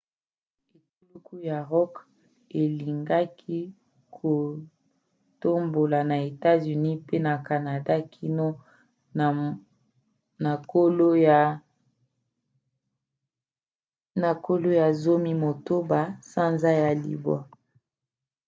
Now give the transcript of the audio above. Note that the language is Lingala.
etuluku ya rock elingaki kotambola na etats-unis mpe na canada kino na kolo ya 16 sanza ya libwa